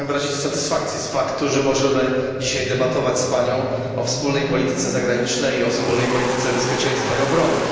Chciałbym wyrazić satysfakcję z faktu, że możemy dzisiaj debatować z panią o wspólnej polityce zagranicznej i o wspólnej polityce bezpieczeństwa i obrony.